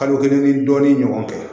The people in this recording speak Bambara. Kalo kelen ni dɔɔnin ɲɔgɔn kɛ